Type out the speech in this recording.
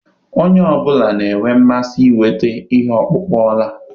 Onye ọ bụla na-enwe mmasị inweta ihe ọkpụkpụ ọla